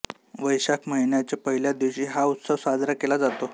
वैशाख महिन्याच्या पहिल्या दिवशी हा उत्सव साजरा केला जातो